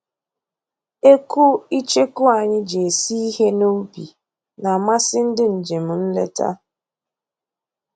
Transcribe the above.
Ekwu icheku anyị ji esi ihe n'ubi na-amasị ndị njem nleta